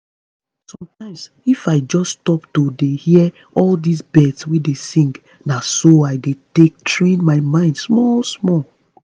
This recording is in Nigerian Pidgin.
sometimes if i just stop to dey hear all this birds wey dey sing na so i dey take train my mind small small.